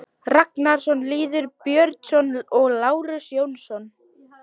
Ragnarsson, Lýður Björnsson og Lárus Jónsson.